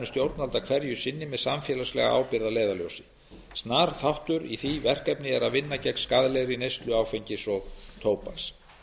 stjórnvalda hverju sinni með samfélagslega ábyrgð að leiðarljósi snar þáttur í því verkefni er að vinna gegn skaðlegri neyslu áfengis og tóbaks